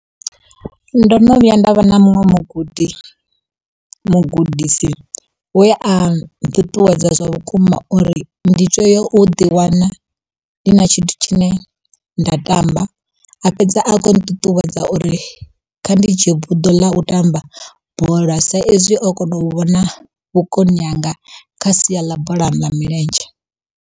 Ndo no vhuya nda vha na muṅwe mugudi, mugudisi we a nṱuṱuwedza zwavhukuma uri ndi to ya u ḓi wana ndi na tshithu tshine nda tamba. A fhedza a kho nṱuṱuwedza uri kha ndi dzhie buḓo ḽa u tamba bola, sa ezwi o kona u vhona vhukoni hanga kha sia ḽa bola ya milenzhe.